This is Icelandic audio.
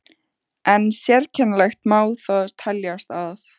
En sérkennilegt má það teljast að